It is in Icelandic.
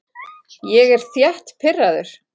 Ég er þétt pirraður.